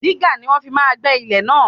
Dígà ni wọ́n fi máa gbẹ́ ilẹ̀ náà.